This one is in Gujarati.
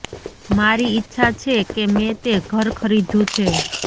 મારી ઇચ્છા છે કે મેં તે ઘર ખરીદ્યું છે